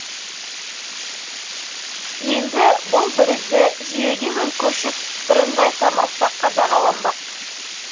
енді бұл бірізді жүйеге көшіп бірыңғай форматта қадағаланбақ